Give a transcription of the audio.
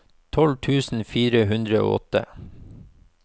tolv tusen fire hundre og åtte